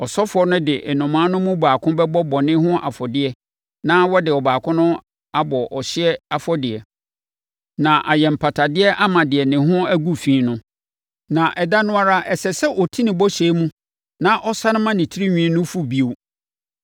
Ɔsɔfoɔ no de nnomaa no mu baako bɛbɔ bɔne ho afɔdeɛ na ɔde ɔbaako abɔ ɔhyeɛ afɔdeɛ, na ayɛ mpatadeɛ ama deɛ ne ho agu fi no. Na ɛda no ara, ɛsɛ sɛ ɔti ne bɔhyɛ mu na ɔsane ma ne tirinwi no fu bio.